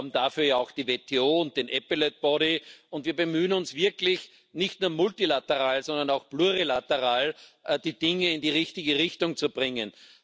Wir haben dafür ja auch die WTO und den und wir bemühen uns wirklich, nicht nur multilateral, sondern auch plurilateral die Dinge in die richtige Richtung zu bringen.